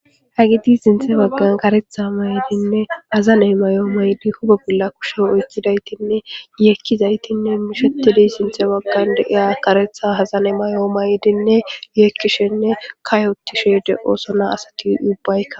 Hayti sintha bagan karetha nayo mayidinne azano mayo mayidi huphe bolla kushe oykidaytinne yekidautinneishetizayti sintha bagam de'iya karetha mayo mayidinne yekishenne kayotishe de'osona